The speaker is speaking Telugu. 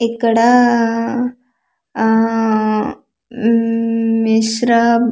ఇక్కడా ఆ ఆ ఊమ్ మిశ్రా--